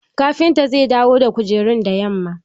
Kafinta zai dawo da kujerun da yamma.